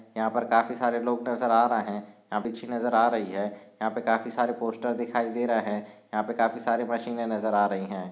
यहा पर काफी सारे लोग नजर आ रहे। यहा पे ची नजर आ रही है। यहा पे काफी सारे पोस्टर दिखाई दे रहे। यहा पे काफी सारे मशिने नजर आ रही है।